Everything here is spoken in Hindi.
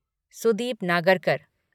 सुदीप नागरकर